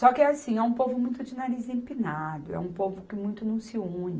Só que é assim, é um povo muito de nariz empinado, é um povo que muito não se une.